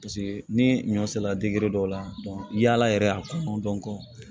Paseke ni ɲɔ sera dɔw la yaala yɛrɛ y'a kɔnɔ dɔn ko